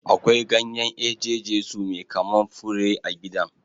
Akwai ganyen eje Jesu mai kaman fure a gidan.